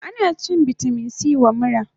Ana shan vitamin C wa mura